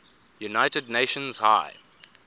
united nations high